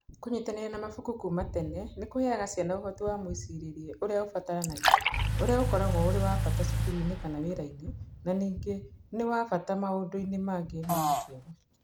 Kũnyitanĩra na mabuku kuuma tene nĩ kũheaga ciana ũhoti wa mwĩcirĩrie ũrĩa ũbataranagia, ũrĩa ũkoragwo ũrĩ wa bata cukuru-inĩ kana wĩra-inĩ, na ningĩ nĩ wa bata maũndũ-inĩ mangĩ ma ũtũũro.